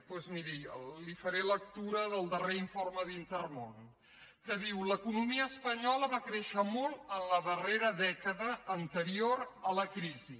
doncs miri li faré lectura del darrer informe d’intermón que diu l’economia espanyola va créixer molt en la darrera dècada anterior a la crisi